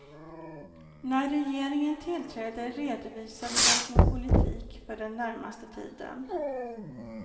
När regeringen tillträdde redovisade den sin politik för den närmaste tiden.